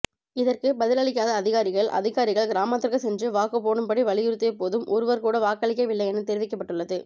இதற்கு பதிலளிக்காத அதிகாரிகள் அதிகாரிகள் கிராமத்திற்கு சென்று வாக்குப் போடும்படி வலியுறுத்திய போதும் ஒருவர் கூட வாக்களிக்கவில்லை என தெரிவிக்கப்பட்டுள்ளது